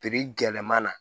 gɛlɛma na